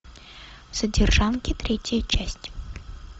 содержанки третья часть